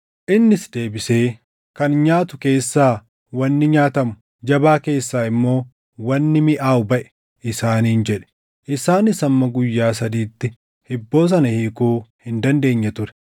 Innis deebisee, “Kan nyaatu keessaa wanni nyaatamu, jabaa keessaa immoo wanni miʼaawu baʼe” isaaniin jedhe. Isaanis hamma guyyaa sadiitti hibboo sana hiikuu hin dandeenye ture.